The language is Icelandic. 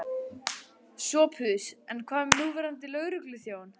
SOPHUS: En hvað um núverandi lögregluþjón?